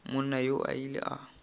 monna yoo o ile a